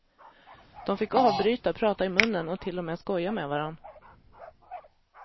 De fick avbryta, prata i munnen och till och med skoja med varandra.